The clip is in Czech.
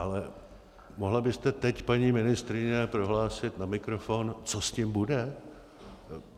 Ale mohla byste teď, paní ministryně, prohlásit na mikrofon, co s tím bude?